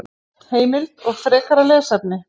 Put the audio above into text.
Heimild og frekara lesefni: